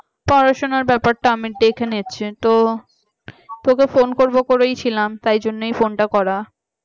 পড়াশোনার ব্যাপারটা আমি দেখে নিচ্ছি তো তোকে phone করবো করেছিলাম তাই জন্য ফোনটা করা